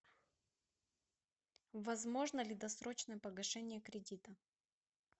возможно ли досрочное погашение кредита